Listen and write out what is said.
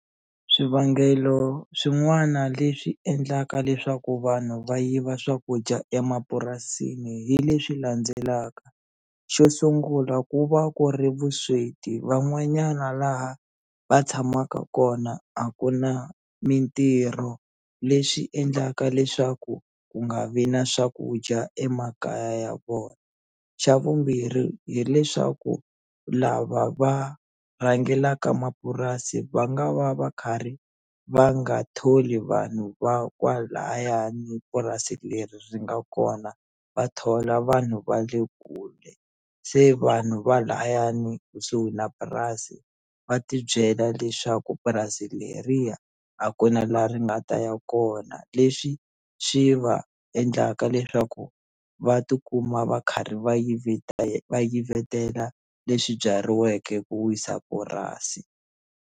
Swivangelo swin'wana leswi endlaka leswaku vanhu va yiva swakudya emapurasini hi leswi landzelaka xo sungula ku va ku ri vusweti van'wanyana laha va tshamaka kona a ku na mintirho leswi endlaka leswaku ku nga vi na swakudya emakaya ya vona xa vumbirhi hileswaku lava va rhangelaka mapurasi va nga va va karhi va nga tholi vanhu va kwalayani purasi leri ri nga kona va thola vanhu va le kule se vanhu va layani kusuhi na purasi va tibyela leswaku purasi leriya a ku na la ri nga ta ya kona leswi swi va endlaka leswaku va tikuma va karhi va va yivetela leswi byariweke ku wisa purasi.